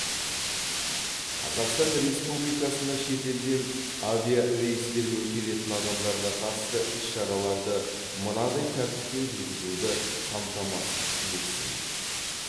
қазақстан республикасына шетелден авиарейстермен келетін адамдарға қатысты іс шараларды мынадай тәртіппен жүргізуді қамтамасыз етсін